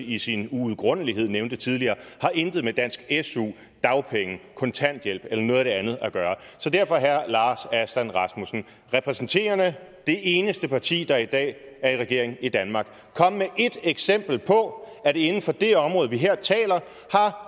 i sin uudgrundelighed nævnte tidligere har intet med dansk su dagpenge kontanthjælp eller noget af det andet at gøre så derfor herre lars aslan rasmussen repræsenterende det eneste parti der i dag er i regering i danmark kom med ét eksempel på at det inden for det område vi her taler